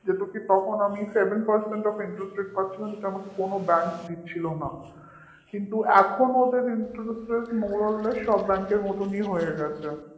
তখন আমি sevenpercentofinterestrate পাচ্ছিলাম সেটা আমাকে কোন bank দিচ্ছিল না এখন ওদের interestmoreorless সব bank র মতনই হয়ে গেছে